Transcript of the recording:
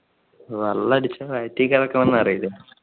വെള്ളം അടിച്ചാൽ വയറ്റിൽ കിടക്കണം എന്ന് പറയില്ലേ.